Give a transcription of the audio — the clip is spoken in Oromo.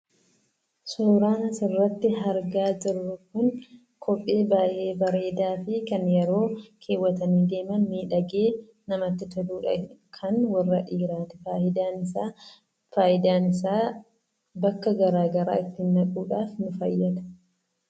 Suuraan asirratti argaa jirru kun kophee baay'ee bareedaa fi kan yeroo keewwatanii deeman miidhagee namatti toludha. kan warra dhiiraati. Faayidaan isaa faayidaan isaa bakka garaa garaa ittiin dhaquudhaaf nu fayyada.